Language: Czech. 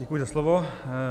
Děkuji za slovo.